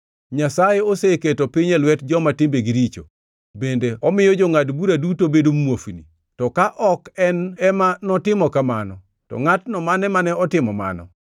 Nyasaye oseketo piny e lwet joma timbegi richo, bende omiyo jongʼad bura duto bedo muofni. To ka ok en ema notimo kamano, to ngʼatno mane otimo mano?